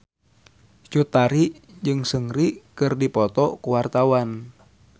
Cut Tari jeung Seungri keur dipoto ku wartawan